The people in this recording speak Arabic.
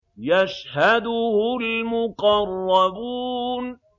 يَشْهَدُهُ الْمُقَرَّبُونَ